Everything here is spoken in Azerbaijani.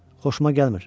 Xoşuma gəlmir.